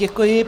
Děkuji.